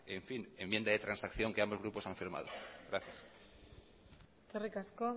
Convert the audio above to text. enmienda de transacción que ambos grupos han firmado gracias eskerrik asko